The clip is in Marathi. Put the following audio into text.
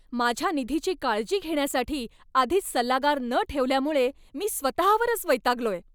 माझ्या निधीची काळजी घेण्यासाठी आधीच सल्लागार न ठेवल्यामुळे मी स्वतःवरच वैतागलोय.